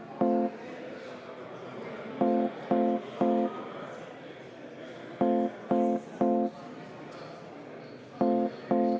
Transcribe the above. V a h e a e g